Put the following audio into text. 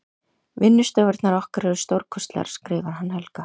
Vinnustofurnar okkar eru stórkostlegar skrifar hann Helga.